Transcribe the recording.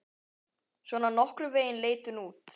Svona nokkurn veginn leit hún út